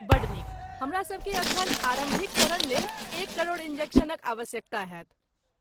बड्ड नीक। हमरासभकेँ एखन आरम्भिक चरणलेल एक करोड़ इन्जेक्शनक आवश्यकता होयत।